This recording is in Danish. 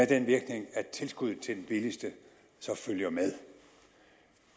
den virkning at tilskuddet til den billigste så følger med